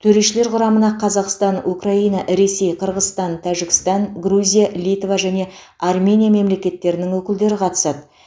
төрешілер құрамына қазақстан украина ресей қырғызстан тәжікстан грузия литва және армения мемлекеттерінің өкілдері қатысады